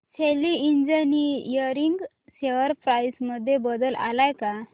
शेली engineering share price मध्ये बदल आलाय का